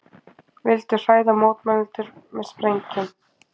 Vildu hræða mótmælendur með sprengjum